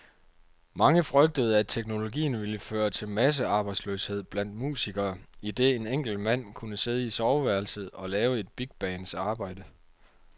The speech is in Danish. Mange frygtede, at teknologien ville føre til massearbejdsløshed blandt musikere, idet en enkelt mand kunne sidde i soveværelset og lave et bigbands arbejde.